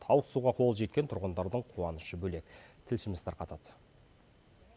ауызсуға қолы жеткен тұрғындардың қуанышы бөлек тілшіміз тарқатады